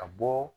Ka bɔ